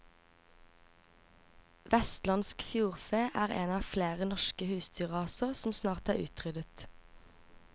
Vestlandsk fjordfe er én av flere norske husdyrraser som snart er utryddet.